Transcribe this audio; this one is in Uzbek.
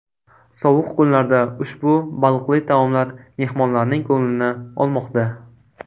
Sovuq kunlarda ushbu baliqli taomlar mehmonlarning ko‘nglini olmoqda.